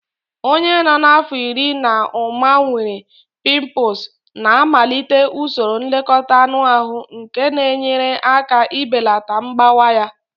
Onye nọ n'afọ iri na ụma nwere pimples na-amalite usoro nlekọta anụ ahụ nke na-enyere aka ibelata mgbawa ya